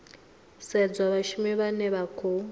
sedzwa vhashumi vhane vha khou